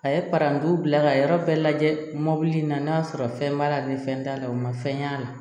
A ye parantiw bila ka yɔrɔ bɛɛ lajɛ mobili in na n'a sɔrɔ fɛn b'a la ni fɛn t'a la o ma fɛn y'a la